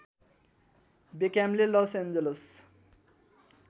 बेक्ह्यामले Los Angeles